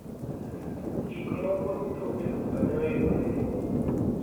gikmoko duto e duka ne oidho nengo